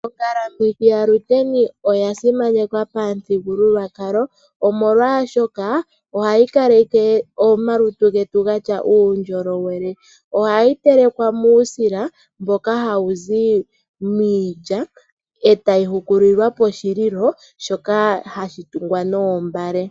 Ongalamwithi yaShiteni oya simanekwa pamuthigululwakalo omolwashoka ohayi kaleke omalutu getu gatya uundjolowele . Ohayi telekwa muusila mboka hawu zi miilya etayi hukulilwa poshililo shoka hashi tungwa noombale.